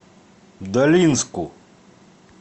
долинску